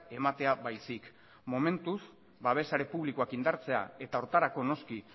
ematea baizik momentuz babes sare publikoak indartzea eta horretarako noski